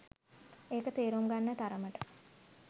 ඒක තේරුම් ගන්න තරමට